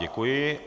Děkuji.